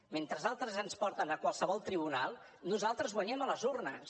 mentre altres ens porten a qualsevol tribunal nosaltres guanyem a les urnes